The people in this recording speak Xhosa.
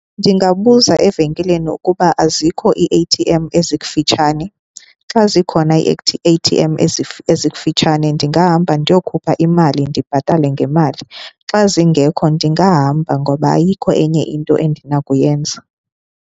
Ndingabuza evenkileni ukuba azikho ii-A_T_M ezikufitshane. Xa zikhona ii-A_T_M ezikifutshane ndingahamba ndiyokhupha imali ndibhatale ngemali. Xa zingekho ndingahamba ngoba ayikho enye into endinakuyenza.